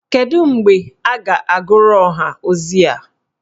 Kedu mgbe a ga-agụrụ ọha ozi a?